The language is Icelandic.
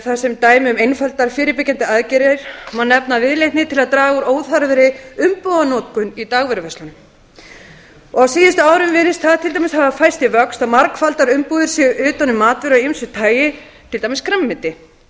þar sem dæmi um einfaldar fyrirbyggjandi aðferðir má nefna viðleitni til að draga úr óþarfri umbúðanotkun í dagvöruverslunum á síðustu árum virðist það til dæmis hafa færst í vöxt að margfaldar umbúðir séu utan um matvöru af ýmsu tagi til dæmis grænmeti